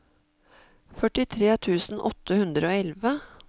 førtitre tusen åtte hundre og elleve